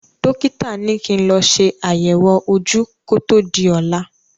Dọ́kítà ní kí n lọ ṣe àyẹ̀wò ojú kó tó di ọ̀la.